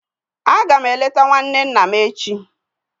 Aga m eleta nwanne nna m echi.